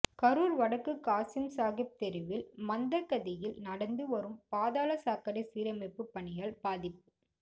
கரூர் வடக்கு காசிம் சாகிப் தெருவில் மந்தகதியில் நடந்து வரும் பாதாள சாக்கடை சீரமைப்பு பணியால் பாதிப்பு